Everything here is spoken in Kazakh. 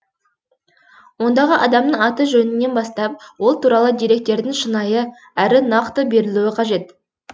ондағы адамның аты жөнінен бастап ол туралы деректердің шынайы әрі нақты берілуі қажет